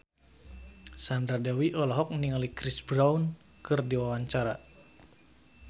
Sandra Dewi olohok ningali Chris Brown keur diwawancara